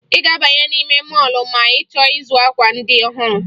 Ị ga-abanye n'ime mọọlụ ma ị chọọ ịzụ akwa ndị ọhụrụ